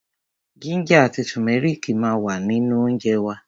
Jínjà àti tùmẹ́rìkì ma wà nínú óńjẹ wa.